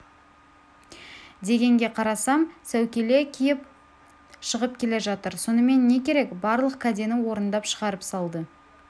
дегенге қарасам сәукеле киіп шығып келе жатыр сонымен не керек барлық кәдені орындап шығарып салды